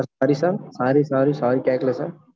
sir sorry sir sorry sorry sorry கேட்கலை sir